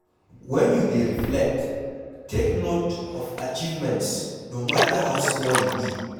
When you dey reflect take note of achievements no matter how small e be